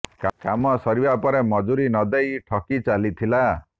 କାମ ସରିବା ପରେ ମଜୁରୀ ନ ଦେଇ ଠକି ଚାଲିଥିଲା